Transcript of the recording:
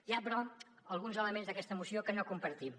hi ha però alguns elements d’aquesta moció que no compartim